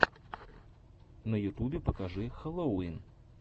на ютубе покажи хэллоувин